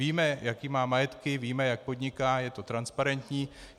Víme, jaké má majetky, víme, jak podniká, je to transparentní.